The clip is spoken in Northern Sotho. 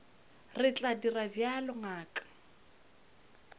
re tla dira bjalo ngaka